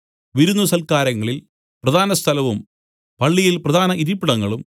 വിരുന്നു സൽക്കാരങ്ങളിൽ പ്രധാനസ്ഥലവും പള്ളിയിൽ പ്രധാന ഇരിപ്പിടങ്ങളും